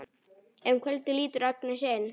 Um kvöldið lítur Agnes inn.